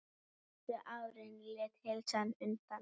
Síðustu árin lét heilsan undan.